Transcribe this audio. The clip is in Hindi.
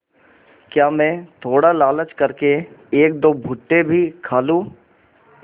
क्या मैं थोड़ा लालच कर के एकदो भुट्टे भी खा लूँ